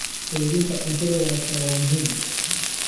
Kaydinta cuntada wanaagsan waa muhiim.